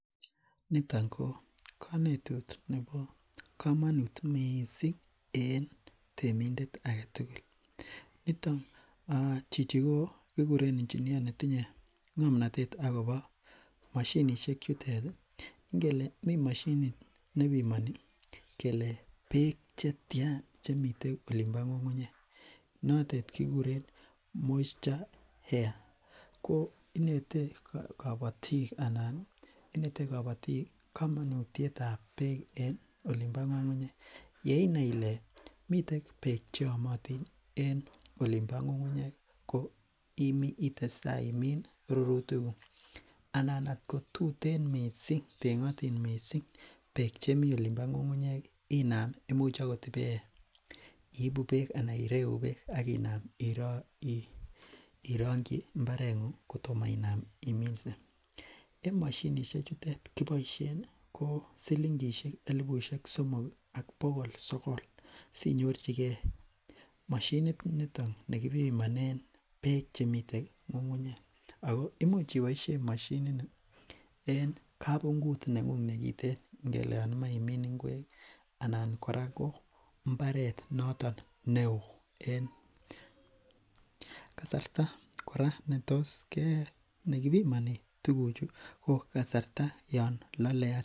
niton ko konetut nebo komonuut mising en temidet agetugul, niton chichi kiguren engineer netinyo ngomnotet agobo moshinishek cheter iih, ngele mi moshinit nebimoni kelee beek chetyaan chemiten olimbo ngungunyeek noteet kegureen misture air, ko inete kobotiik anan iih inete kobotiik komonutyeet ab beek en olimbo ngungunyeek, yeinai ile miten beek cheomotin en olimbo ngungunyek itestai imiin rurutik guuk, anan at ko tuten mising tengotiin mising beek chemii olimbo ngungunyeek inaam imuch agoot iibu beek anan ireeu beek ak inaam ironkyi imbareet nguung kotomo inaam iminse, en moshinishek chutet kiboishen ko silingishek elifushek somok iih ak bogool sogol, sinyorchingee moshinit niton negibimoneen beek chemiten ngungunyeek ago imuch iboishen moshinit nii en kabunguut nenguung negiten ngele yoon imoe imiin ngweek anan ko imbaret noton neoo en kasarta koraa netos ke, negibimonen tuguchu ko kasarta non lole asista.